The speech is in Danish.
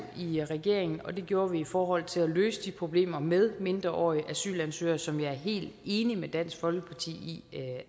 i regeringen og det gjorde vi i forhold til at løse de problemer med mindreårige asylansøgere som jeg er helt enig med dansk folkeparti i